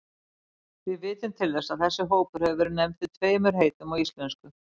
Við vitum til þess að þessi hópur hafi verið nefndur tveimur heitum á íslensku.